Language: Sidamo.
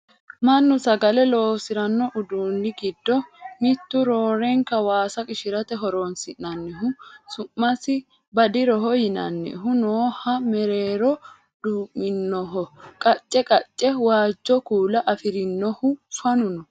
mannu sagale loosiranno udunni giddo mittu roorenka waasa qishirate horonsi'nannihu su'masi badiroho yinannihu nooha mereero duu'minoho qacce qacce waajjo kuula afirinohu fanu no